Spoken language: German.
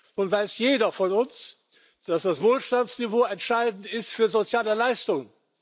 Nun weiß jeder von uns, dass das Wohlstandsniveau entscheidend ist für soziale Leistungen.